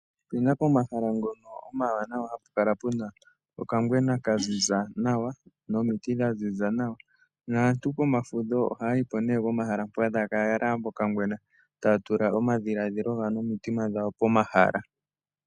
Opuna pomahala ngono omawanawa hapu kala puna okangwena kaziza nawa nomiti dhaziza nawa. Naantu pomafudho ohaya yi po nee pomahala mpoka taya kala yalala pokangwena, taya tula omadhiladhilo gawo nomitima dhawo pomahala.